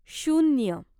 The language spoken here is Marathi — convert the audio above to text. शून्य